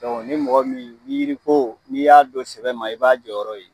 Dɔnku ni mɔgɔ min yiri ko n'i y'a don sɛbɛ ma i b'a jɔyɔrɔ ye